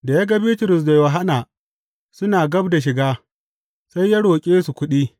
Da ya ga Bitrus da Yohanna suna gab da shiga, sai ya roƙe su kuɗi.